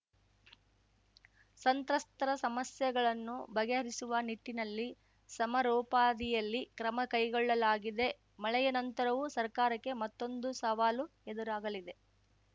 ಸಂತ್ರಸ್ತರ ಸಮಸ್ಯೆಗಳನ್ನು ಬಗೆಹರಿಸುವ ನಿಟ್ಟಿನಲ್ಲಿ ಸಮರೋಪಾದಿಯಲ್ಲಿ ಕ್ರಮ ಕೈಗೊಳ್ಳಲಾಗಿದೆ ಮಳೆಯ ನಂತರವೂ ಸರ್ಕಾರಕ್ಕೆ ಮತ್ತೊಂದು ಸವಾಲು ಎದುರಾಗಲಿದೆ